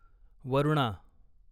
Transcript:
Varuna